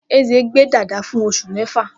Eze gbe dada fun osu mefa.